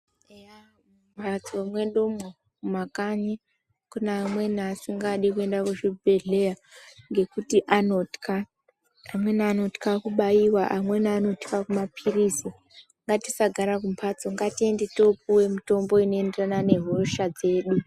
Mumbatso mwedumwo mumakanyi kune amweni asingadi kuende kuzvibhedhleya ngekuti anotya. Amweni anotya kubaiwa amweni anotya kumaphirizi. Ngatisagara kumbatso ngatiende topuwe mitombo inoenderana nehosha dzedu.